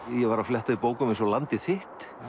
ég var að fletta í bókum eins og landið þitt